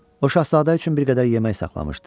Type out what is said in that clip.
O şahzadə üçün bir qədər yemək saxlamışdı.